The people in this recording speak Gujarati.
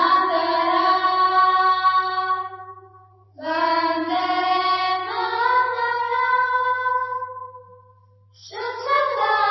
વોકલ વાંદે માત્રમ